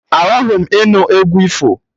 Achọghị m ịnụ egwu ifo!